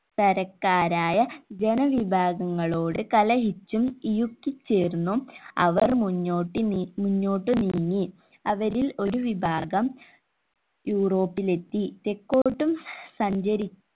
തരക്കാരായ ജനവിഭാഗങ്ങളോട് കലഹിച്ചും ഇഴുക്കിചേർന്നും അവർ മുന്നോട്ട് നി മുന്നോട്ട് നീങ്ങി അവരിൽ ഒരു വിഭാഗം യൂറോപ്പിലേത്തി തെക്കോട്ടും സഞ്ചരി